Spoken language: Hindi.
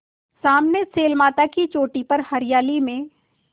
सामने शैलमाला की चोटी पर हरियाली में